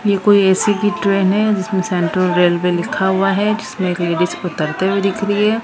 ये कोई ए_सी की ट्रेन है जिसमें सेंट्रल रेलवे लिखा हुआ है जिसमें एक लेडिज उतरते हुए दिख रही है।